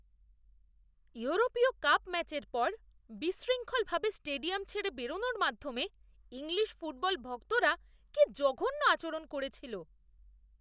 ইউরোপীয় কাপ ম্যাচের পর বিশৃঙ্খল ভাবে স্টেডিয়াম ছেড়ে বেরনোর মাধ্যমে ইংলিশ ফুটবল ভক্তরা কী জঘন্য আচরণ করেছিল!